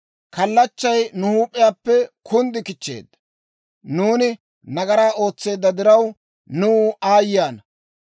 kallachchay nu huup'iyaappe kunddi kichcheedda. Nuuni nagaraa ootseedda diraw, nuw aayye ana!